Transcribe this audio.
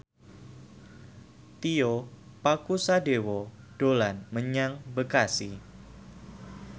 Tio Pakusadewo dolan menyang Bekasi